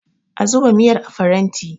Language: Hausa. a zuba miyar a faranti!